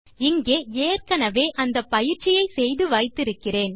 இங்கே ஏற்கெனெவே அந்த பயிற்சியை செய்து வைத்து இருக்கிறேன்